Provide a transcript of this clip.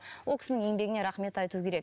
ол кісінің еңбегіне рахмет айту керек